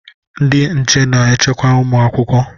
Ndị nche na-echekwa ụmụ akwụkwọ.